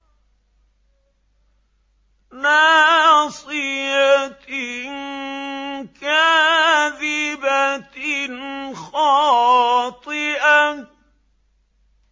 نَاصِيَةٍ كَاذِبَةٍ خَاطِئَةٍ